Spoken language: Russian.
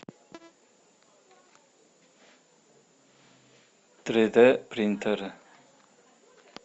три д принтеры